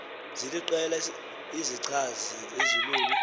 ziliqela izichazi ezilolu